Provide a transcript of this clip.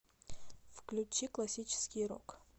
включи классический рок